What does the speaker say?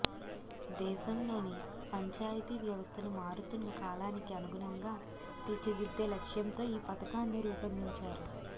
దేశంలోని పంచాయతీ వ్యవస్థను మారుతున్న కాలానికి అనుగుణంగా తీర్చిదిద్దే లక్ష్యంతో ఈ పథకాన్ని రూపొందించారు